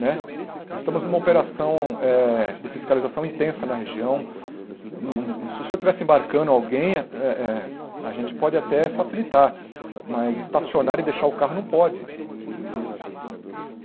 Né nós estamos numa operação eh de fiscalização intensa na região, se o senhor estivesse embarcando alguém eh eh, a gente pode até facilitar, mas estacionar e deixar o carro não pode.